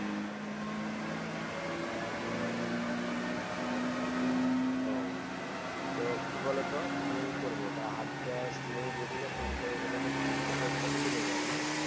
ও তো কি বলতো তুমি কি করবে তা Hard Cash নেই বলছে, Ticket এর পয়সাটা শুধু নেবে এখন হ্যাঁ